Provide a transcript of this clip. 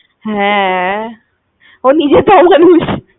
হ্যাঁ। ও নিজেকে ওই ভাবিস